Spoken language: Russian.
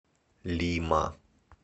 лима